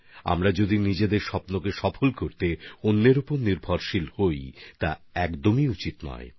আমরা নিজেদের স্বপ্নপূরণের জন্য অন্য কারো ওপর নির্ভর করব সেটা ঠিক নয়